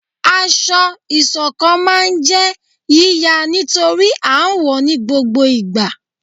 aṣọ-isọ̀kán ma n jé yíyá nitori a n wọ ní gbógbó ìgbà